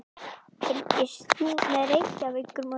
Fylgist þú með Reykjavíkurmótinu?